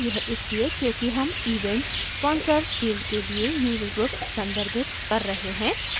फिर से यह इसलिए क्योंकि हम events sponsors field के लिए user groups संदर्भित कर रहे हैं